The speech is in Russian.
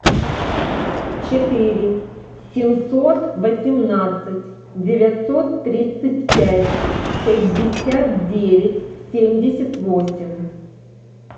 четыре семьсот восемнадцать девятьсот тридцать пять пятьдесят девять семьдесят восемь